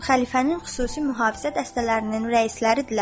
Xəlifənin xüsusi mühafizə dəstələrinin rəisləri idilər.